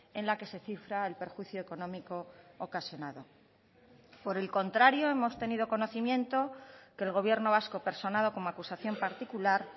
en la que se cifra el perjuicio económico ocasionado por el contrario hemos tenido conocimiento que el gobierno vasco personado como acusación particular